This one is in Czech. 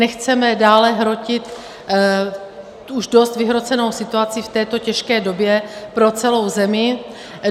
Nechceme dále hrotit už dost vyhrocenou situaci v této těžké době pro celou zemi.